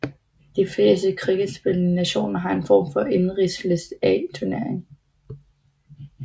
De fleste cricketspillende nationer har en form for indenrigs List A turnering